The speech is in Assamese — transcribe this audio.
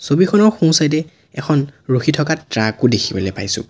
ছবিখনৰ সোঁ চাইড এ এখন ৰখি থকা ট্ৰাক ও দেখিবলৈ পাইছোঁ।